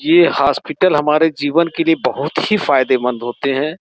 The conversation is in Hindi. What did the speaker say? ये हॉस्पिटल हमारे जीवन के लिए बहुत ही फायदेमंद होते हैं।